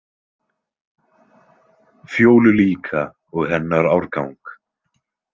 Fjólu líka og hennar árgang.